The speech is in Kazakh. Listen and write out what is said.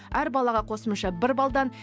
әр балаға қосымша бір баллдан